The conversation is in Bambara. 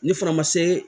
Ne fana ma se